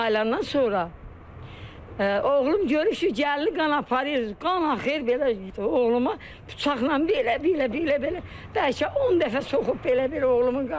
Oğlum mayılandan sonra oğlum görür ki, gəlin qan aparır, qan axır belə, oğluma bıçaqla belə, belə, belə, belə, bəlkə 10 dəfə soxub belə, belə oğlumun qanını.